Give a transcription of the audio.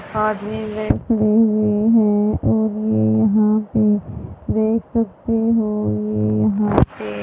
आदमी ने खड़े हुए हैं और ये यहां पे देख सकते हो ये यहां पे --